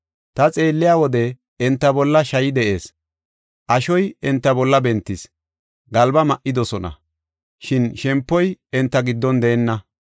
Ta xeelliya wode, enta bolla shayi de7ees; ashoy enta bolla bentis; galba ma7idosona; shin shempoy enta giddon deenna.